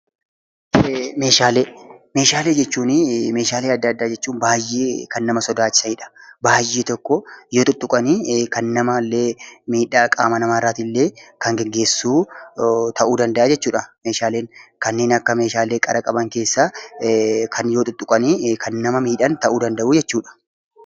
Meeshaalee jechuun baay'ee kan sodaachisanidha. Baay'ee tokko yoo tuttuqan miidhaa qaamaarraan kan geessisu ta'uu danda'a jechuudha. Kanneen akka meeshaalee qara qaban keessaa kan yoo tuttuqan miidhan jechuu danda'u jechuudha.